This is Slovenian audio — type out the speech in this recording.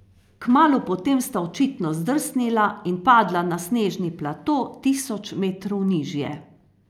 Kmalu potem sta očitno zdrsnila in padla na snežni plato tisoč metrov nižje.